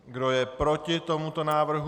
Kdo je proti tomuto návrhu?